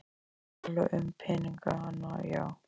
Ég er að tala um peningana, já.